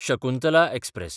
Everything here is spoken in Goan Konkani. शकुंतला एक्सप्रॅस